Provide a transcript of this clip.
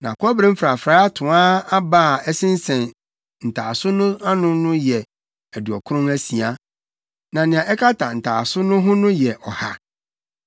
Na Kɔbere mfrafrae atoaa aba a ɛsensɛn ntaaso no ano no yɛ aduɔkron asia, na nea ɛkata ntaaso no ho yɛ ɔha.